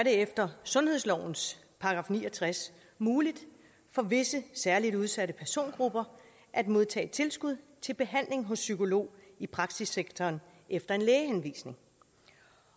efter sundhedslovens § ni og tres muligt for visse særligt udsatte persongrupper at modtage et tilskud til behandling hos en psykolog i praksissektoren efter en lægehenvisning